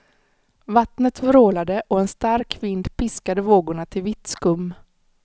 Vattnet vrålade och en stark vind piskade vågorna till vitt skum.